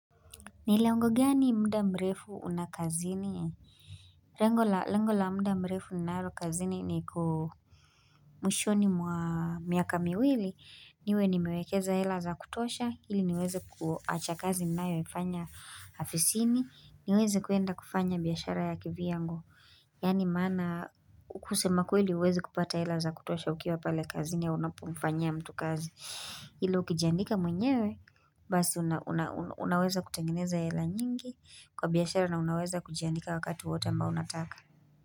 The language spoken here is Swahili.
Ni lengo gani muda mrefu unakazini? Rengo la muda mrefu naro kazini ni kumushoni mwa miaka miwili. Niwe ni mewekeza ela za kutosha. Hili niweze kuacha kazi nawefanya hafisini. Niweze kuenda kufanya biyashara ya kiviyangu. Yani mana ukusema kweli uwezi kupata elaza kutosha ukiwa pale kazini ya unapumfanyia mtu kazi. Hilo ukijandika mwenyewe basi unaweza kutengeneza yela nyingi kwa biyashara na unaweza kujandika wakatu wowote ambao unataka.